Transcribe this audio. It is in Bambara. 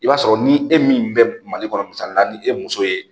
I b'a sɔrɔ ni e min bɛ mali kɔnɔ misali la ni e muso ye